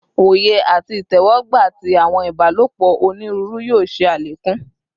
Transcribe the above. Oye ati itẹwọgba ti awọn ibalopọ oniruuru yoo ṣe alekun